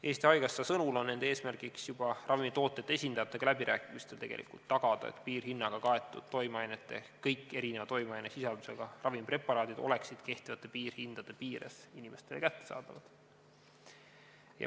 Eesti Haigekassa sõnul on nende eesmärk juba ravimitootjate esindajatega läbirääkimistel tagada, et piirhinnaga kaetud toimeainete ehk kõik erineva toimeainesisaldusega ravimpreparaadid oleksid kehtivate piirhindade piires inimestele kättesaadavad.